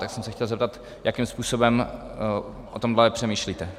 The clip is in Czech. Tak jsem se chtěl zeptat, jakým způsobem o tomhle přemýšlíte.